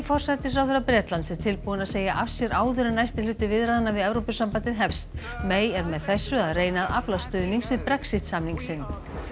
forsætisráðherra Bretlands er tilbúin að segja af sér áður en næsti hluti viðræðna við Evrópusambandið hefst er með þessu að reyna að afla stuðnings við Brexit samning sinn